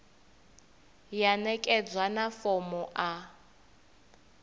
ya ṋekedzwa na fomo a